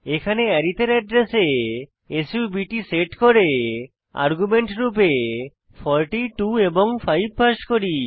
এখানে আরিথ এর অ্যাড্রেসে সাব্ট সেট করে আর্গুমেন্ট রূপে 42 এবং 5 পাস করি